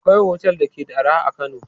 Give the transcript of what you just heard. Akwai otel da ke da arha a Kano.